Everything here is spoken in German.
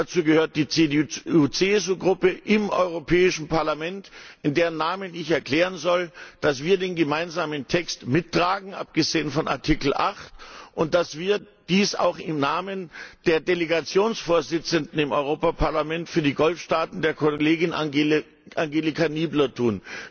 Dazu gehört die CDU CSU Gruppe im Europäischen Parlament, in deren Namen ich erklären soll, dass wir den gemeinsamen Text mittragen abgesehen von Ziffer 8 und dass wir dies auch im Namen der Delegationsvorsitzenden im Europäischen Parlament für die Golfstaaten, der Kollegin Angelika Niebler, tun.